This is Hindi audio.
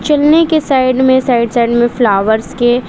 चुन्नी के साइड में साइड साइड में फ्लावर्स के --